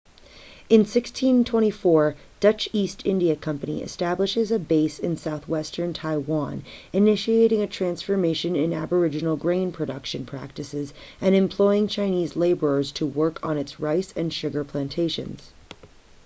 in 1624,dutch east india company establishes a base in southwestern taiwan initiating a transformation in aboriginal grain production practices and employing chinese laborers to work on its rice and sugar plantations